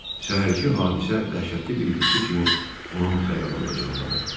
Səhərki hadisə dəhşətli bir yuxu kimi onun xəyalında canlanırdı.